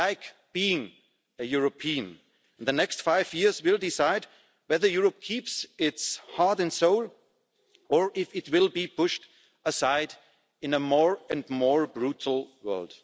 I like being a European, and the next five years will decide whether Europe keeps its heart and soul, or whether it will be pushed aside in a more and more brutal world.